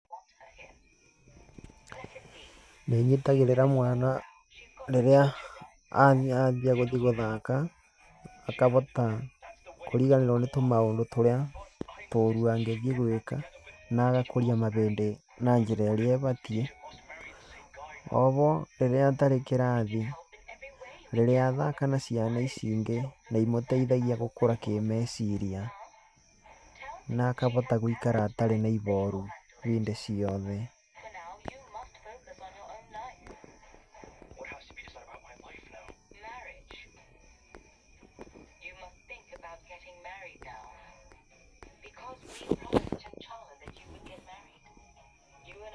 Nĩ ĩnyitagĩrĩra mwana rĩrĩa yaani athiĩ gũthaka, akabota kũriganĩrwo nĩ tũmaũndũ tũrĩa tũũrũ angĩthiĩ gwĩka, na agakũria mabĩndĩ na njĩra ĩrĩa ĩbatiĩ. O bo rĩrĩa atarĩ kĩrathi, rĩrĩa athaka na ciana ici ingĩ nĩ imũteithagia gũkũra kĩmeciria na akabota gũikara atarĩ na ibooru hĩndĩ ciothe.